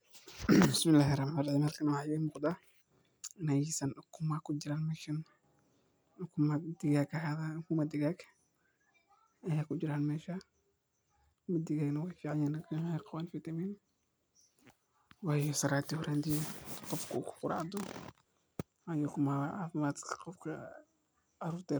Ukumaha doorada waa cunto nafaqo leh oo aad loogu isticmaalo cunnooyinka maalinlaha ah, gaar ahaan miyiga iyo meelaha lagu dhaqdo doofaarada. Ukunta doorada waxay ka timaaddaa shinbir la yiraahdo dooro taasoo u eg digaag, balse ka weyn oo cod dheer leh. Ukunta doorada way ka weyn tahay ukunta digaagga, waxayna leedahay jaallo huruud qaro weyn oo macaan marka la kariyo. Waxay hodan ku tahay borotiin, fitamiin A, D iyo macdano muhiim ah sida birta iyo fosfooraska, taasoo ka